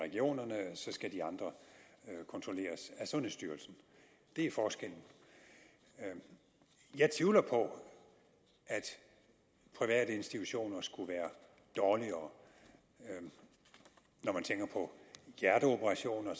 regionerne så skal de andre kontrolleres af sundhedsstyrelsen det er forskellen jeg tvivler på at private institutioner skulle være dårligere når man tænker på hjerteoperationer